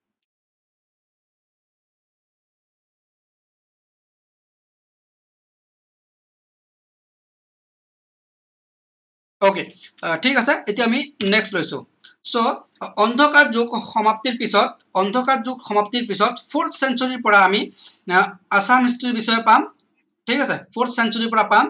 ok ঠিক আছে এতিয়া আমি next লৈছো so অন্ধকাৰ যুগ সমাপ্তিৰ পিছত অন্ধকাৰ যুগ সমাপ্তিৰ পিছত full century পৰা আমি আহ assam history ৰ বিষয়ে পাম ঠিক আছে full century ৰ পৰা পাম